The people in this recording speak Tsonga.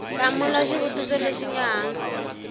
hlamula xivutiso lexi nga hansi